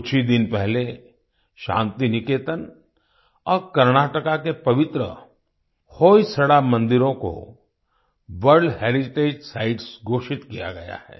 कुछ ही दिन पहले शान्तिनिकेतन और कर्नाटक के पवित्र होयसड़ा मंदिरों को वर्ल्ड हेरिटेज साइट्स घोषित किया गया है